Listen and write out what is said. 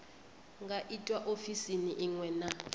nga itwa ofisini iṅwe na